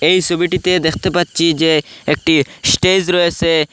এই সবিটিতে দেখতে পাচ্ছি যে একটি স্টেজ রয়েসে।